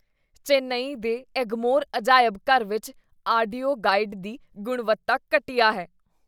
ਚੇਨੱਈ ਦੇ ਐਗਮੋਰ ਅਜਾਇਬ ਘਰ ਵਿੱਚ ਆਡੀਓ ਗਾਈਡ ਦੀ ਗੁਣਵੱਤਾ ਘਟੀਆ ਹੈ।